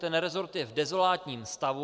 Ten resort je v dezolátním stavu.